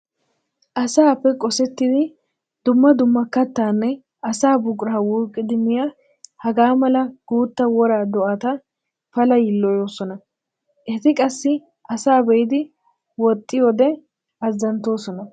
Asappe qossettiddi dumma dumma kattanne asaa buqura wuuqiddi miya hagaa mala guutta wora do'atta pala yiilloyosonna. Eti qassi asaa be'iddi woxxiide azanttoosonna.